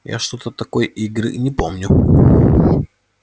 я что-то такой игры не помню